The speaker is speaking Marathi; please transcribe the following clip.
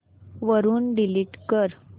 वरून डिलीट कर